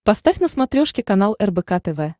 поставь на смотрешке канал рбк тв